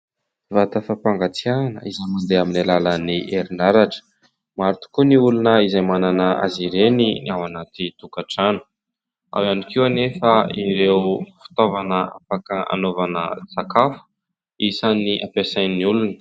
Vata fampangatsiahana izay amin'ny alalan'ny herinaratra. Maro tokoa ny olona izay manana azy ireny ny ao anaty tokantrano ; ao ihany koa anefa ireo fitaovana afaka anaovana sakafo isany ampiasain'ny olona.